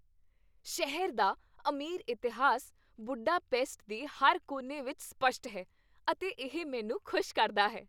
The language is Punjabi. ਸ਼ਹਿਰ ਦਾ ਅਮੀਰ ਇਤਿਹਾਸ ਬੁਡਾਪੇਸਟ ਦੇ ਹਰ ਕੋਨੇ ਵਿੱਚ ਸਪੱਸ਼ਟ ਹੈ, ਅਤੇ ਇਹ ਮੈਨੂੰ ਖੁਸ਼ ਕਰਦਾ ਹੈ।